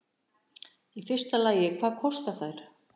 Í fyrsta lagi hvað þær kostuðu